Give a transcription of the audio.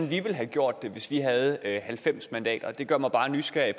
ville have gjort det hvis vi havde halvfems mandater det gør mig bare nysgerrig